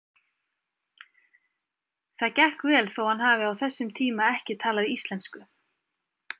Það gekk vel þó hann hafi á þessum tíma ekki talað íslensku.